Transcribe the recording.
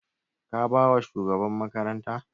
Ka ba wa shugaban makaranta?